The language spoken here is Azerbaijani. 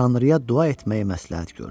Tanrıya dua etməyi məsləhət gördü.